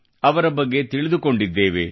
ಅವರ ಬಗ್ಗೆ ತಿಳಿದುಕೊಂಡಿದ್ದೇವೆ